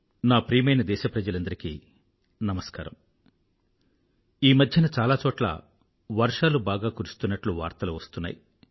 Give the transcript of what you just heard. నా ప్రియమైన దేశప్రజలందరికీ నమస్కారం ఈమధ్యన చాలా చోట్ల వర్షాలు బాగా కురుస్తున్నట్లు వార్తలు వస్తున్నాయి